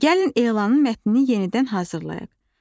gəlin elanın mətnini yenidən hazırlayaq.